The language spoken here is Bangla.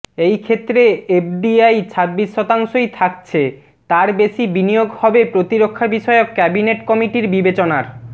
এই ক্ষেত্রে এফডিআই ছাব্বিশ শতাংশই থাকছে তার বেশি বিনিয়োগ হবে প্রতিরক্ষা বিষয়ক ক্যাবিনেট কমিটির বিবেচনার